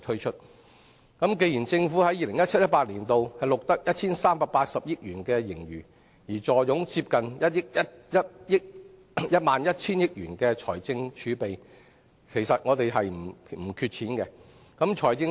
政府在 2017-2018 年度錄得 1,380 億元盈餘，並坐擁接近1萬 1,000 億元財政儲備，其實政府庫房十分充裕。